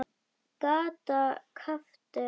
Kata gapti.